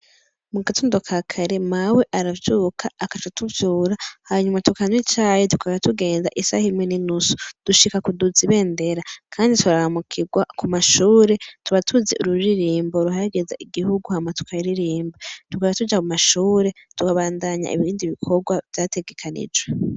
Mu gatonto ka kare mawe aravyuka agaca atuvyura hanyuma tukanywa icayi tugaca tugenda isaha imwe ni nusu dushika kuduza ibendera kandi turaramukirwa ku mashure tuba tuzi ururirimbo ruhayagiza igihugu Hama tukaririmba tugaca tuca mu mashure tukabandanya ibindi bikorwa vyategekanijwe.